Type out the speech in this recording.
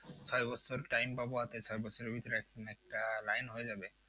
ছয় বছর time পাবো হাতে ছয় বছরের ভিতরে একটা না একটা line হয়ে যাবে।